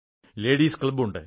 ladies ക്ലബ്ബുണ്ട്